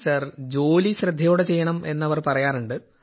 sir ജോലി ശ്രദ്ധയോടെ ചെയ്യണം എന്നവർ പറയാറുണ്ട്